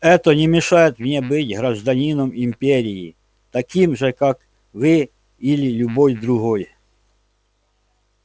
это не мешает мне быть гражданином империи таким же как вы или любой другой